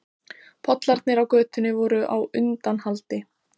Pollarnir á götunni voru á undanhaldi.